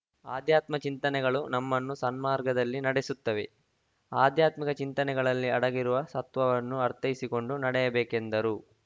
ಆಧ್ಯಾತ್ಮ ಚಿಂತನೆಗಳು ನಮ್ಮನ್ನು ಸನ್ಮಾರ್ಗದಲ್ಲಿ ನಡೆಸುತ್ತವೆ ಆಧ್ಯಾತ್ಮಿಕ ಚಿಂತನೆಗಳಲ್ಲಿ ಅಡಗಿರುವ ಸತ್ವವನ್ನು ಅರ್ಥೈಸಿಕೊಂಡು ನಡೆಯಬೇಕೆಂದರು